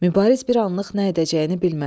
Mübariz bir anlıq nə edəcəyini bilmədi.